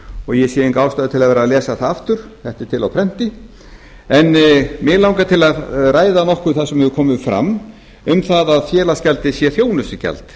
og ég sé enga ástæðu til að vera að lesa það aftur þetta er til á prenti en mig langar til að ræða nokkuð það sem hefur komið fram um það að félagsgjaldið sé þjónustugjald